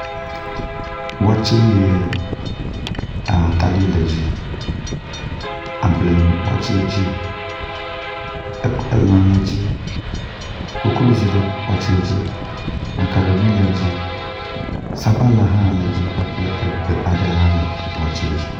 wɔtse sɔ agbe hena ɖuɖu bladzo tɔtoe kpeɖenu lãtɔtoe koklozi ɖaɖa makaroni kple gbewo kpeɖeŋu shitɔ hã le tame ŋuɖuɖua sɔgbɛ hena ɖuɖu